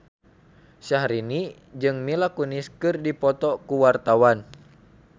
Syahrini jeung Mila Kunis keur dipoto ku wartawan